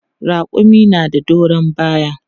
Raƙumi na da doron baya.